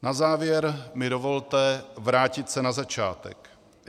Na závěr mi dovolte se vrátit na začátek.